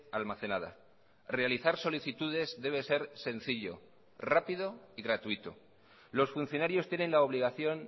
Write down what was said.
almacenada realizar solicitudes debe ser sencillo rápido y gratuito los funcionarios tienen la obligación